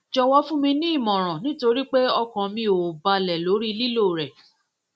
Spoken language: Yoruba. jọwọ fún mi ní ìmọràn nítorí pé ọkàn mi ò balẹ ò balẹ lórí lílò rẹ